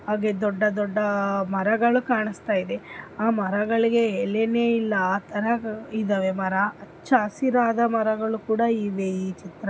ಹಾಗೆ ದೊಡ್ಡಡ್ಡ ಮರಗಳು ಕಾನಸ್ತಯಿದೆ ಆ ಮರಗಳಿಗೆ ಎಲೆನೆ ಇಲ್ಲಾ ಆಥರಾ ಇವೆ ಮರಾ ಎಲ್ಲಾ ಹಚ್ಚ ಹಸಿರಾದ ಮರಗಳು ಕೂಡಾ ಇವೆ ಇ ಚಿತ್ರ--